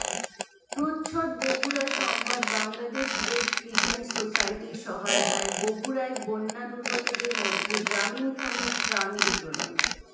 প্রচ্ছদ বগুড়া সংবাদ Bangladesh red crescent সোসাইটির সহায়তায় বগুড়ায় বন্যা দুর্গতদের মধ্যে গ্রামীণফোনের ত্রাণ বিতরণ